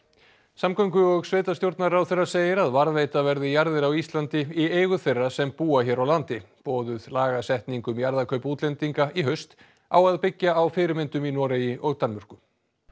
samgöngu og sveitarstjórnarráðherra segir að varðveita verði jarðir á Íslandi í eigu þeirra sem búa hér á landi boðuð lagasetning um jarðakaup útlendinga í haust á að byggja á fyrirmyndum í Noregi og Danmörku